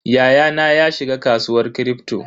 Yayana ya shiga kasuwar Kripto.